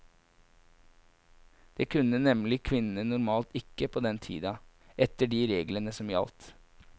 Det kunne nemlig kvinnene normalt ikke på denne tida, etter de reglene som gjaldt.